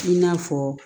I n'a fɔ